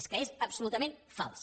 és que és absolutament fals